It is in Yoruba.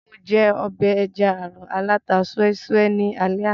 Mo jẹ ọbẹ̀ ẹja-àrọ̀ aláta súẹ́ súẹ́ ní alé àná